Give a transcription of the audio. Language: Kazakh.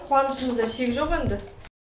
қуанышымызға шек жоқ енді